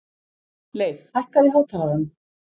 Leif, hækkaðu í hátalaranum.